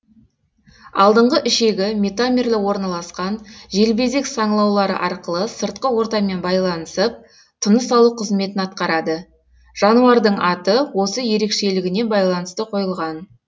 алдыңғы ішегі метамерлі орналасқан желбезек саңылаулары арқылы сыртқы ортамен байланысып тыныс алу қызметін атқарады жануардың аты осы ерекшелігіне байланысты қойылған